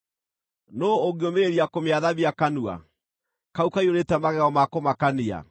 Nũũ ũngĩũmĩrĩria kũmĩathamia kanua, kau kaiyũrĩte magego ma kũmakania?